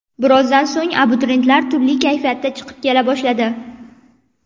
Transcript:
Birozdan so‘ng, abituriyentlar turli kayfiyatda chiqib kela boshladi.